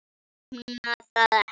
Ég opna það ekki.